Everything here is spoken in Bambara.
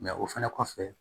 o fɛnɛ kɔfɛ